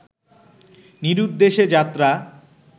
নিরুদ্দেশে যাত্রা